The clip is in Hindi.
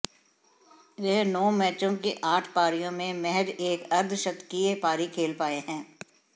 वह नौ मैचों की आठ पारियों में महज एक अर्धशतकीय पारी खेल पाए हैं